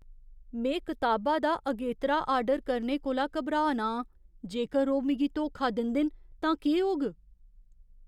में कताबा दा अगेतरा आर्डर करने कोला घबरा ना आं, जेकर ओह् मिगी धोखा दिंदे न तां केह् होग?